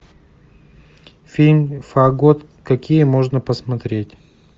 фильм фагот какие можно посмотреть